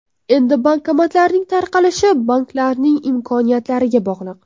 Endi bankomatlarning tarqalishi banklarning imkoniyatlariga bog‘liq.